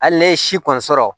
Hali ne ye si kɔni sɔrɔ